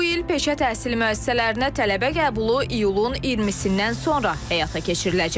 Bu il peşə təhsili müəssisələrinə tələbə qəbulu iyulun 20-dən sonra həyata keçiriləcək.